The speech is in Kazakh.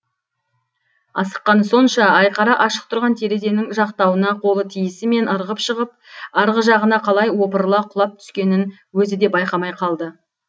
асыққаны сонша айқара ашық тұрған терезенің жақтауына қолы тиісімен ырғып шығып арғы жағына қалай опырыла құлап түскенін өзі де байқамай қалды